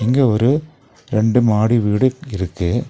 இங்க ஒரு ரெண்டு மாடி வீடு இருக்கு.